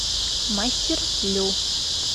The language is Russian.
мастер лю